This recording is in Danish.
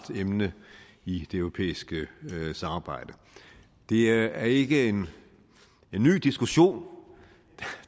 emne i det europæiske samarbejde det er ikke en ny diskussion